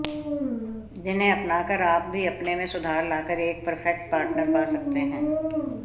जिन्हें अपनाकर आप भी अपने में सुधार लाकर एक परफेक्ट पार्टनर पा सकते हैं